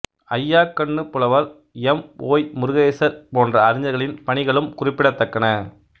அய்யாக்கண்ணுப்புலவர் M Y Murugesar போன்ற அறிஞர்களின் பணிகளும் குறிப்பிடத்தக்கன